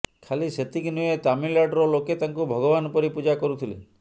ଖାଲି ସେତିକି ନୁହେଁ ତାମିଲନାଡ଼ୁର ଲୋକେ ତାଙ୍କୁ ଭଗବାନ ପରି ପୂଜା କରୁଥିଲେ